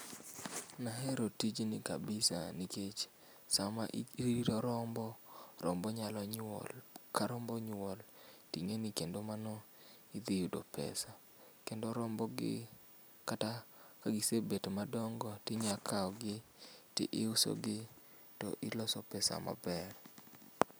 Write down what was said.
Nahero tijni kabisa nikech sama irito rombo, rombo nyalo nyuol, ka rombo onyuol tingeni kendo mano idhi yudo pesa. Kendo robo gi kata ka gisebet madongo to iya kawgi to iuso gi to iloso pesa maber